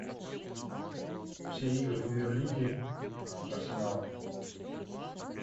все игры премьер лиги арсенала